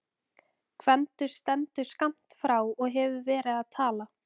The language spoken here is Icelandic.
Gvendur stendur skammt frá og hefur verið að tala.